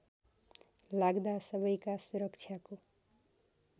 लाग्दा सबैका सुरक्षाको